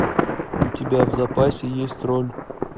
у тебя в запасе есть роль